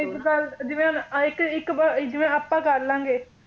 ਇੱਕ ਗੱਲ ਜਿਵੇਂ ਹੁਣ ਐਂ ਇੱਕ ਇੱਕ ਜਿਵੇਂ ਆਪਾਂ ਕਰਲਾਂਗੇ।